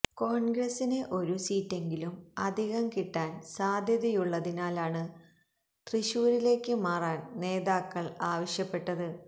കോണ്ഗ്രസിന് ഒരു സീറ്റെങ്കിലും അധികം കിട്ടാന് സാധ്യതയുള്ളതിനാലാണ് തൃശൂരിലേക്ക് മാറാന് നേതാക്കള് ആവശ്യപ്പെട്ടത്